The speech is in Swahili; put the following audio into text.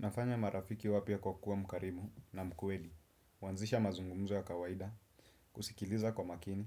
Napata marafiki wapy kwa kuwa mkarimu na mkweli, kuanzisha mazungumzo ya kawaida, kusikiliza kwa makini